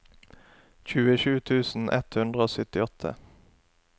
tjuesju tusen ett hundre og syttiåtte